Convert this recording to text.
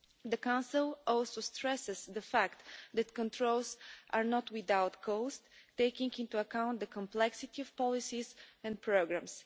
The Council also stresses the fact that controls are not without cost, taking into account the complexity of policies and programmes.